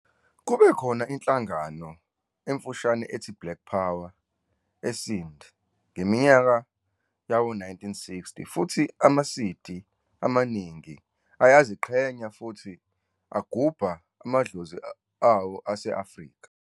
Kube khona inhlangano emfushane ethi "Black Power" eSindh ngeminyaka yawo-1960 futhi amaSiddi amaningi ayaziqhenya futhi agubha amadlozi awo ase-Afrika.